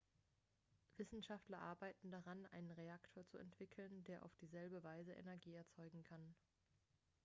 wissenschaftler arbeiten daran einen reaktor zu entwickeln der auf dieselbe weise energie erzeugen kann